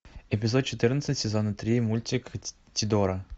эпизод четырнадцать сезона три мультик тидора